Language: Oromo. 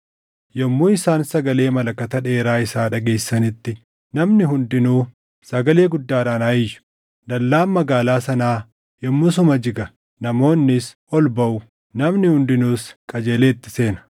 Yommuu isaan sagalee malakataa dheeraa isaa dhageessisanitti namni hundinuu sagalee guddaadhaan haa iyyu; dallaan magaalaa sanaa yommusuma jiga; namoonnis ol baʼu; namni hundinuus qajeelee itti seena.”